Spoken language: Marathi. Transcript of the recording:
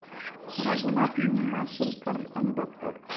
रघुनाथ माशेलकर आणि डॉ.